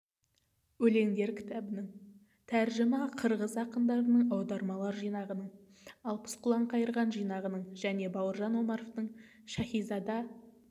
өлеңдер кітабының тәржіма қырғыз ақындарының аудармалар жинағының алпыс құлан қайырған жинағының және бауыржан омаровтың шаһизада